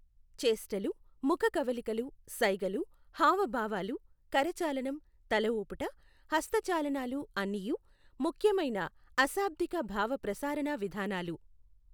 చేష్టలు ముఖ కవళికలు సైగలు హావభావాలు కరచాలనం తలఊపుట హస్త చాలనాలు అన్నియూ ముఖ్యమైన అశాబ్దిక భావ ప్రసారణ విధానాలు.